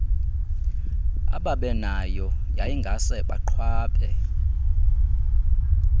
ababenayo yayingase baqhwabe